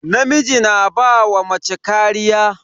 Namiji na ba wa mace kariya.